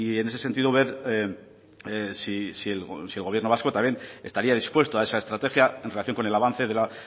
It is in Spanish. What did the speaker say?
en ese sentido ver si el gobierno vasco también estaría dispuesto a esa estrategia en relación con el avance de la